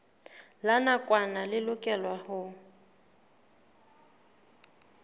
la nakwana le lokelwang ho